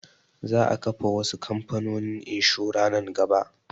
Za a kafa wasu kamfanonin inshura nan gaba